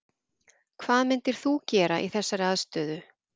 Hvað myndir þú gera í þessari aðstöðu?